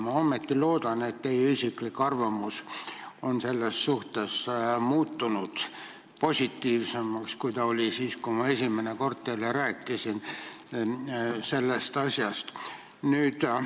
Ma siiski loodan, et teie isiklik arvamus selles suhtes on muutunud positiivsemaks, kui ta oli siis, kui ma esimene kord teile sellest asjast rääkisin.